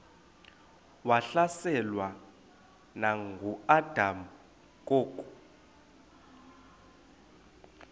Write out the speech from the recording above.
wahlaselwa nanguadam kok